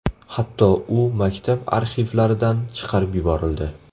Hatto u maktab arxivlaridan chiqarib yuborildi.